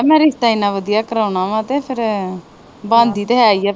ਕਹਿ ਮੈ ਰਿਸ਼ਤਾ ਇਹਨਾਂ ਵਧੀਆ ਕਰਾਉਣਾ ਵਾ ਤੇ ਫਿਰ ਆ ਬਣਦੀ ਤਾ ਹੈ ਈਆ